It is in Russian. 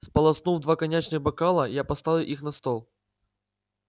сполоснув два коньячных бокала я поставил их на стол